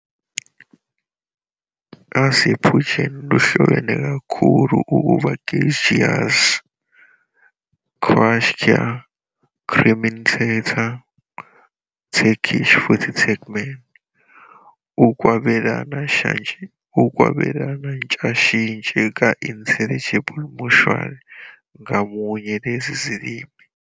-Azerbaijan luhlobene kakhulu ukuba Gagauz, Qashqai, Crimean Tatar, Turkish futhi Turkmen, ukwabelana ntshashintshe ka intelligibility mutual ngamunye lezo zilimi.